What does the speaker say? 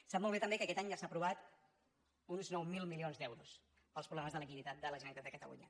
sap molt bé també que aquest any ja s’han aprovat uns nou mil milions d’euros pels problemes de liquiditat de la generalitat de catalunya